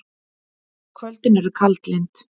Kvöldin eru kaldlynd.